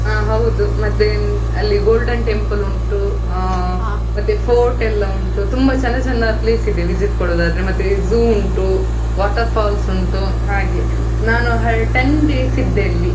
ಹಾ ಹೌದು ಮತ್ತೆ ಅಲ್ಲಿ golden temple ಉಂಟು ಆ port ಎಲ್ಲಾ ಉಂಟು ತುಂಬಾ ಚಂದ ಚಂದ place ಇದೆ visit ಕೊಡುದಾದ್ರೆ, ಮತ್ತೆ zoo ಉಂಟು water falls ಉಂಟು . ನಾನು ten days ಇದ್ದೆ ಅಲ್ಲಿ.